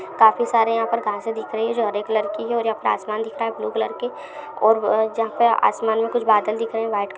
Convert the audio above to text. काफी सारे यहाँ पर घासे दिख रही है जो हरे कलर की हैऔर यहाँ पर आसमान दिख रहा है ब्लू कलर के और जहाँ पे आसमान में कुछ बादल दिख रहे है व्हाइट क--